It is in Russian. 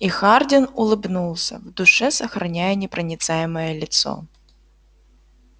и хардин улыбнулся в душе сохраняя непроницаемое лицо